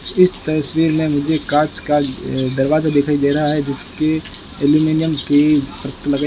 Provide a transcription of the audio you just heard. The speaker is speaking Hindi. इस तस्वीर में मुझे कांच का दरवाजा दिखाई दे रहा है जिसके एल्युमिनियम की परत लगाई--